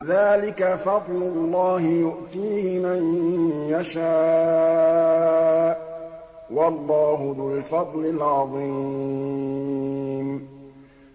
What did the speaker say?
ذَٰلِكَ فَضْلُ اللَّهِ يُؤْتِيهِ مَن يَشَاءُ ۚ وَاللَّهُ ذُو الْفَضْلِ الْعَظِيمِ